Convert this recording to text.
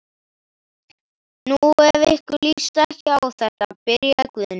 Nú, ef ykkur líst ekki á þetta. byrjaði Guðni.